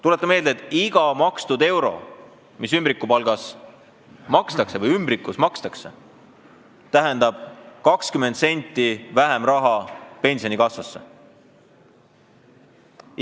Tuletan meelde, et iga euro, mis ümbrikus makstakse, tähendab 20 senti vähem raha pensionikassasse.